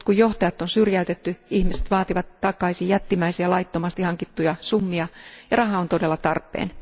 Nyt kun johtajat on syrjäytetty, ihmiset vaativat takaisin jättimäisiä laittomasti hankittuja summia ja raha on todella tarpeen.